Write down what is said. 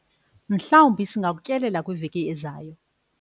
mhlawumbi singakutyelela kwiveki ezayo